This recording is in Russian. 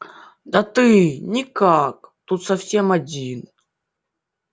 да ты никак тут совсем один